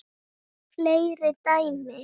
Fleiri dæmi